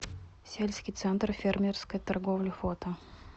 сельский центр фермерской торговли фото